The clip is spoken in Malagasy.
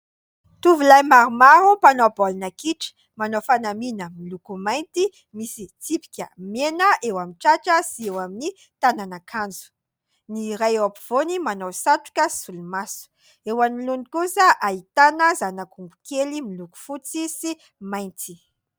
Tovolahy maromaro, mpanao baolina kitra, manao fanamiana miloko mainty misy tsipika mena eo amin'ny tratra sy eo amin'ny tanan' akanjo; ny iray eo ampivoany manao satroka sy solomaso, eo anoloany kosa ahitana zanak'ombikely miloko fotsy sy mainty.